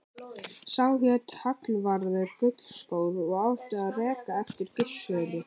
Sá hét Hallvarður gullskór og átti að reka á eftir Gissuri.